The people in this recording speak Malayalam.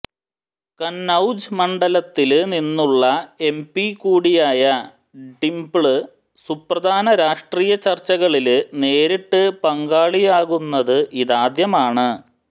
കന്നൌജ് മണ്ഡലത്തില് നിന്നുള്ള എംപി കൂടിയായ ഡിംപിള് സുപ്രധാന രാഷ്ട്രീയ ചര്ച്ചകളില് നേരിട്ട് പങ്കാളിയാകുന്നത് ഇതാദ്യമാണ്